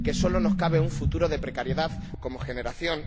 que solo nos cabe un futuro de precariedad como generación.